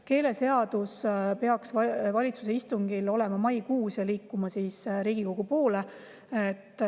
Keeleseadus peaks valitsuse istungil olema maikuus ja liikuma siis Riigikogu poole.